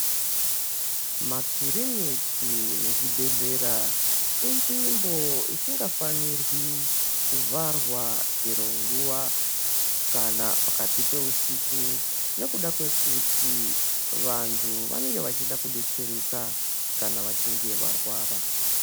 Makiriniki nezvibhedhlera inzvimbo isingafanirwi kuvharwa chero nguwa kana pakati peusiku nekuda kwekuti vantu vanenge vachida kudetsereka kana vachinge varwara.